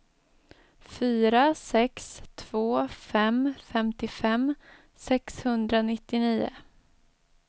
fyra sex två fem femtiofem sexhundranittionio